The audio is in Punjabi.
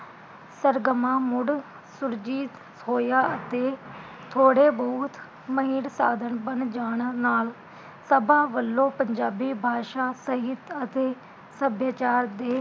ਸਰਗਮਾਂ ਮੁੜ ਸੁਰਜੀਤ ਹੋਇਆ ਅਤੇ ਥੋੜੇ ਬਹੁਤ ਮਹਿੜ ਸਾਧਨ ਬਣ ਜਾਣਾ ਨਾਲ ਸਭਾ ਵਲੋਂ ਪੰਜਾਬੀ ਬਾਸ਼ਾ ਸਹਿਤ ਅਤੇ ਸੱਭਿਆਚਾਰ ਦੇ